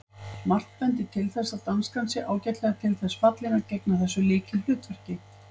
Margt bendir til þess að danskan sé ágætlega til þess fallin að gegna þessu lykilhlutverki.